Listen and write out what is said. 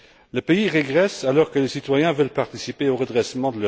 Le pays régresse alors que les citoyens veulent participer à son redressement.